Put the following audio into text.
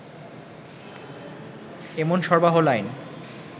এমন সরবরাহ লাইন